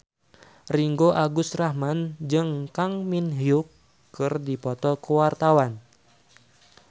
Ringgo Agus Rahman jeung Kang Min Hyuk keur dipoto ku wartawan